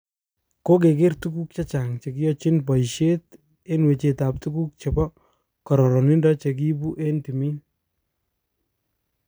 Kokeger tuguk chechang chekichochin boishet eng wechet tab tuguk chebo kororonido chekiibu eng timin.